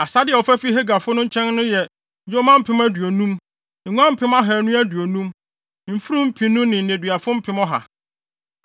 Asade a wɔfa fii Hagarfo no nkyɛn no yɛ yoma mpem aduonum, nguan mpem ahannu aduonum, mfurum mpenu ne nneduafo mpem ɔha.